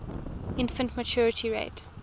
infant mortality rate